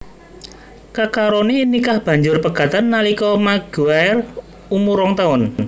Kekarone nikah banjur pegatan nalika Maguire umur rong taun